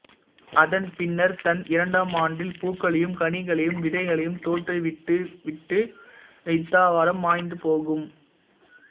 அதன் பின்னர் தன் இரண்டாம் ஆண்டில் பூக்களையும் கனிகளையும் விதைகளையும் தோற்றுவித்துவிட்டு இத்தாவரம் மாய்ந்து போகும்